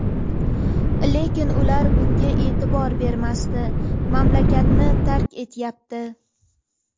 Lekin ular bunga e’tibor bermasdan mamlakatni tark etyapti.